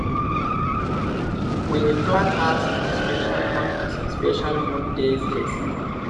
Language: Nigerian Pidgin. we dey plant herbs for silent mode on some special moon days days